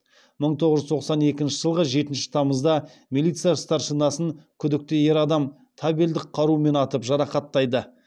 мың тоғыз жүз тоқсан екінші жылғы жетінші тамызда милиция старшинасын күдікті ер адам табельдік қарумен атып жарақаттайды